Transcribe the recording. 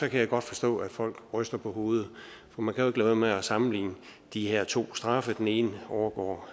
kan jeg godt forstå at folk ryster på hovedet for man kan jo være med at sammenligne de her to straffe den ene overgår